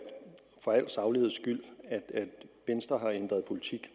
sagligheds skyld at venstre har ændret politik